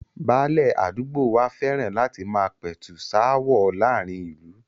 Báálẹ̀ àdúgbò wa fẹ́ràn láti máa pẹ̀tù sááwọ̀ láàrin ìlú